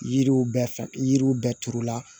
Yiriw bɛɛ fɛ yiriw bɛɛ turu la